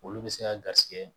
Olu bɛ se ka garisɛgɛ